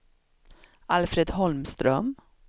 Alfred Holmström